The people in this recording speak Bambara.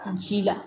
Ji la